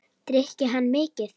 Drykki hann mikið?